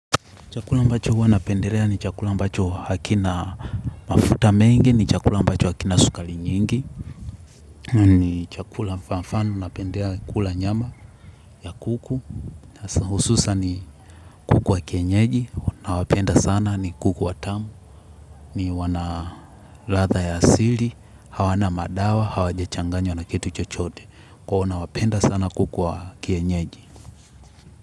Chakula ambacho huwa napendelea ni chakula ambacho hakina mafuta mengi, ni chakula ambacho hakina sukari nyingi, ni chakula mfano huwa napendea kula nyama ya kuku, hususan ni kuku wa kienyeji, nawapenda sana ni kuku wa tamu, ni wana ladha ya asili, hawana madawa, hawajachanganywa na kitu chochote, kwa hiyo huwa nawapenda sana kuku wa kienyeji.